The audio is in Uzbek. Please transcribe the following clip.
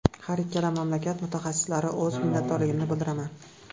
Har ikkala mamlakat mutaxassislariga o‘z minnatdorligimni bildiraman.